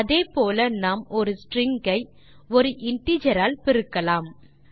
அதே போல நாம் ஒரு ஸ்ட்ரிங் ஐ ஒரு இன்டிஜர் ஆல் பெருக்கலாம்